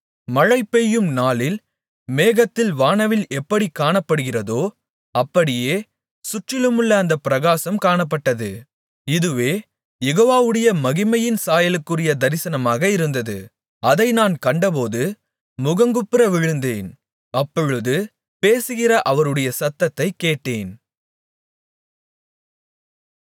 மழைபெய்யும் நாளில் மேகத்தில் வானவில் எப்படிக் காணப்படுகிறதோ அப்படியே சுற்றிலுமுள்ள அந்தப் பிரகாசம் காணப்பட்டது இதுவே யெகோவாவுடைய மகிமையின் சாயலுக்குரிய தரிசனமாக இருந்தது அதை நான் கண்டபோது முகங்குப்புற விழுந்தேன் அப்பொழுது பேசுகிற ஒருவருடைய சத்தத்தைக் கேட்டேன்